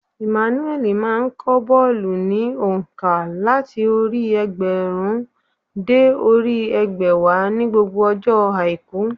Emmanuel má a n kọ́ bólú ní ònká làti orí i egbèrún dé orí i ẹgbẹ̀wá ní gbogbo ọjọ́ àìkú